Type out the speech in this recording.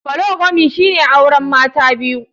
Polygamy shine auren Maya biyu.